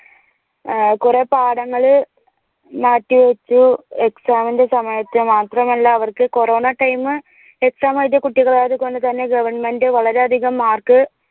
കുറെ പാഠങ്ങള് മാറ്റിവെച്ചു exam ഇന്റെ സമയത്ത് മാത്രമല്ല അവർക്ക് കൊറോണ timeexam എഴുതിയ കുട്ടികളായത് കൊണ്ട് തന്നെ govt വളരെയധികം